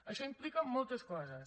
això implica moltes coses